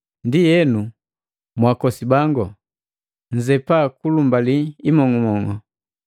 Ndienu, mwakosi bango, nnzepa kulumbali imong'umong'u.